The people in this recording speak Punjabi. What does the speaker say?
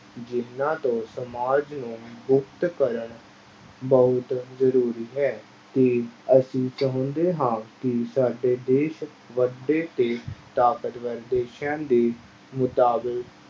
ਜਿਹਨਾਂ ਤੋਂ ਸਮਾਜ ਨੂੰ ਮੁਕਤ ਕਰਨ ਬਹੁਤ ਜ਼ਰੂਰੀ ਹੈ, ਤੇ ਅਸੀਂ ਚਾਹੁੰਦੇ ਹਾਂ ਕਿ ਸਾਡਾ ਦੇਸ ਵਧੇ ਤੇ ਤਾਕਤਵਰ ਦੇਸਾਂ ਦੇ